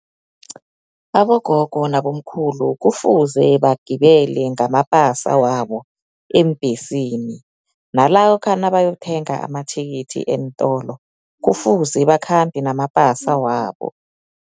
Abogogo nabomkhulu kufuze bagibele ngamapasa wabo eembhesini, nalokha naba okuthenga amathikithi eentolo, kufuze bakhambe namapasa wabo.